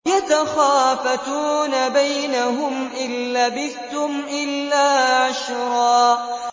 يَتَخَافَتُونَ بَيْنَهُمْ إِن لَّبِثْتُمْ إِلَّا عَشْرًا